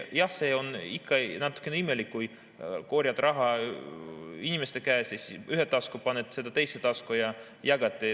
Jah, see on ikka natukene imelik, kui korjad raha inimeste käest ühte tasku, paned seda teise tasku ja jagad.